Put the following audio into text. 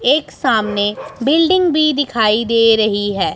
एक सामने बिल्डिंग भी दिखाई दे रही है।